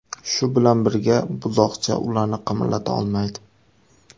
Shu bilan birga, buzoqcha ularni qimirlata olmaydi.